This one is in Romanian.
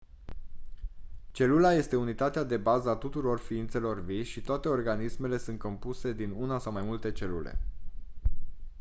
celula este unitatea de bază a tuturor ființelor vii și toate organismele sunt compuse din una sau mai multe celule